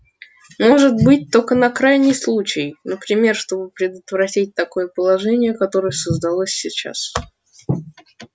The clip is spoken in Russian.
может быть только на крайний случай например чтобы предотвратить такое положение которое создалось сейчас